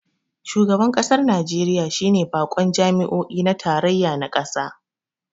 Shugaban kasar Najeriya shi ne bakon jami'o'i na tarayya na kasa